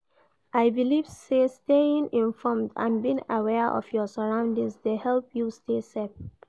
I believe say staying informed and being aware of your surroundings dey help you stay safe.